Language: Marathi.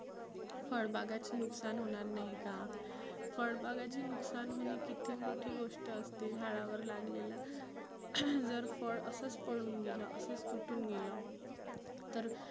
फळ बागाची नुकसान होणार नाही का? फळ बागाची नुकसान होणे किती मोठी गोष्ट असते. झाडावर लागलेला जर फळच असच पडुन गेलं असच तुटुन गेलं तर